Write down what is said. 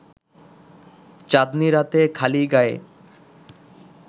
চাঁদনি রাতে খালি গায়ে